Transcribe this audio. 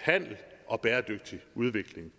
handel og bæredygtig udvikling